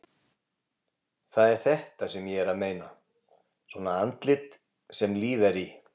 Það er þetta sem ég er að meina. svona andlit sem líf er í!